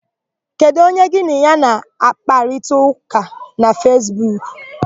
Kedụ onye gị na ya na-àkpárịtaụka na Fesbuku?